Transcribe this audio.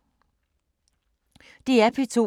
DR P2